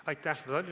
Aitäh!